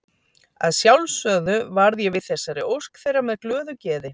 Að sjálfsögðu varð ég við þessari ósk þeirra með glöðu geði.